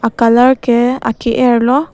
colour a ke er lo.